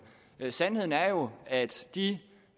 sandheden er jo altså at de